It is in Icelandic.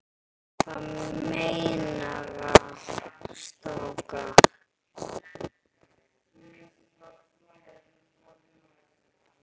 Hvað meira strákar?